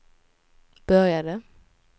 började